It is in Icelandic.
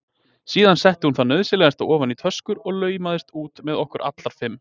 Síðan setti hún það nauðsynlegasta ofan í töskur og laumaðist út með okkur allar fimm.